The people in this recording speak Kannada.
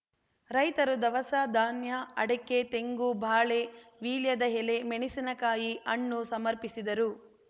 ರೈತರು ಧವಸ ಧಾನ್ಯ ಅಡಕೆ ತೆಂಗು ಬಾಳೆ ವೀಳ್ಯದ ಎಲೆ ಮೆಣಸಿನ ಕಾಯಿ ಹಣ್ಣು ಸಮರ್ಪಿಸಿದರು